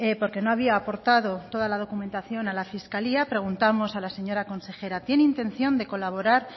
porque no había aportado toda la documentación a la fiscalía preguntamos a la señora consejera tiene intención de colaborar